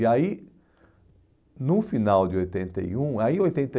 E aí... No final de oitenta e um... Aí oitenta e